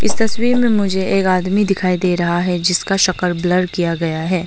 तस्वीर में मुझे एक आदमी दिखाई दे रहा है जिसका शक्ल ब्लर किया गया है।